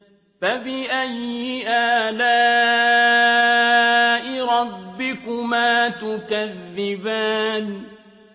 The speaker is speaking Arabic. فَبِأَيِّ آلَاءِ رَبِّكُمَا تُكَذِّبَانِ